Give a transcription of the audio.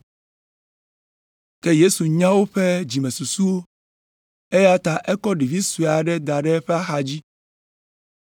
Ke Yesu nya woƒe dzimesusuwo, eya ta ekɔ ɖevi sue aɖe da ɖe eƒe axadzi.